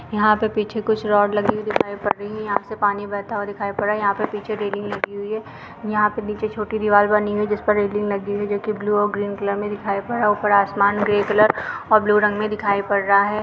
यहाँ पे पीछे कुछ रॉड लगी हुई दिखाई पड़ रही हैं यहाँ से पानी बहता हुआ दिखाई पड़ रहा है यहाँ पे पीछे रेलिंग लगी हुई है यहाँ पर निचे छोटी दिवार बानी हुई है जिस पर रेलिंग लगी हुई है जो कि ब्लू और ग्रीन कलर में दिखाई पड़ रहा है ऊपर आसमान ग्रे कलर और ब्लू रंग में दिखाई पड़ रहा है।